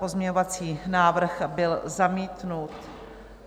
Pozměňovací návrh byl zamítnut.